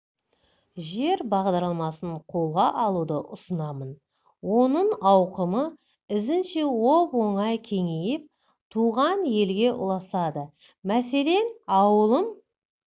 жер бағдарламасын қолға алуды ұсынамын оның ауқымы ізінше оп-оңай кеңейіп туған елге ұласады мәселен ауылым